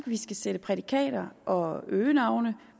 vi skal sætte prædikater og øgenavne